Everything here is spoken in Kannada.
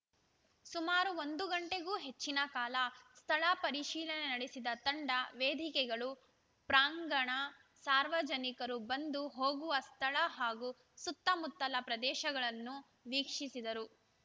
ಸುಮಾರು ಒಂದು ಗಂಟೆಗೂ ಹೆಚ್ಚಿನ ಕಾಲ ಸ್ಥಳ ಪರಿಶೀಲನೆ ನಡೆಸಿದ ತಂಡ ವೇದಿಕೆಗಳು ಪ್ರಾಂಗಣ ಸಾರ್ವಜನಿಕರು ಬಂದು ಹೋಗುವ ಸ್ಥಳ ಹಾಗೂ ಸುತ್ತಮುತ್ತಲ ಪ್ರದೇಶಗಳನ್ನು ವೀಕ್ಷಿಸಿದರು